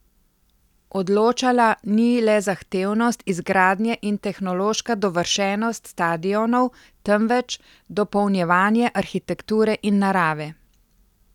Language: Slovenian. Odločala ni le zahtevnost izgradnje in tehnološka dovršenost stadionov, temveč dopolnjevanje arhitekture in narave.